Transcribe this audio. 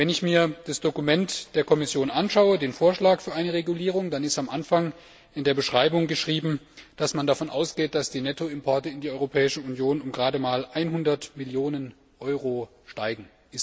Wenn ich mir das Dokument der Kommission anschaue, den Vorschlag für eine Regulierung, dann steht am Anfang in den Erläuterungen geschrieben, dass man davon ausgeht, dass die Nettoimporte in die Europäische Union um gerade mal 100 Millionen Euro steigen.